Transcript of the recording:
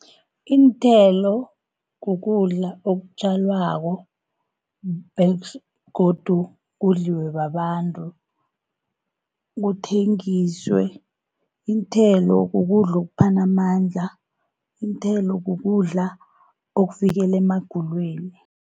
Iinthelo kukudla okutjalwako, begodu kudliwe babantu, kuthengiswe. Iinthelo kukudla okuphana amandla. Iinthelo kukudla okuvikela emagulweni.